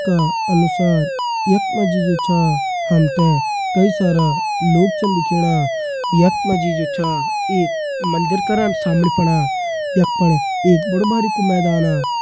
का अनुसार यक मजी जु छा हमथे कई सारा लोग चन दिखेणा। यक मजी जो छा एक मंदिर करान सामणि पणा। यक पण बड़ु भारी कु मैदाना।